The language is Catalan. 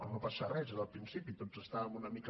no passa res era el principi tots estàvem una mica